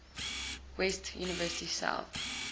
west university south